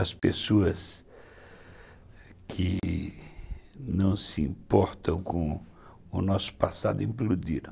As pessoas que não se importam com o nosso passado implodiram.